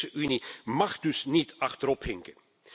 De Europese Unie mag dus niet achterophinken.